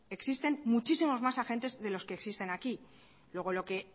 existen muchísimos más agentes de los que existen aquí luego